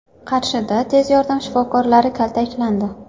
Qarshida tez yordam shifokorlari kaltaklandi.